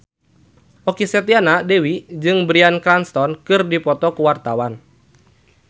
Okky Setiana Dewi jeung Bryan Cranston keur dipoto ku wartawan